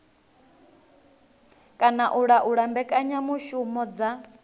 kana u laula mbekanyamushumo dza